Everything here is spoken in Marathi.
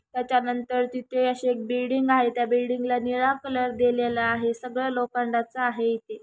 त्याच्यानंतर तिथे अशी एक बिल्डिंग आहे त्या बिल्डिंग ला निळा कलर देलेला आहे सगळं लोखंडाचा आहे इथे.